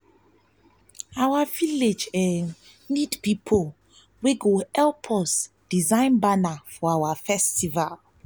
our village need need people wey go fit help us design banner for our festival